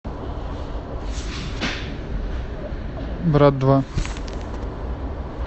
брат два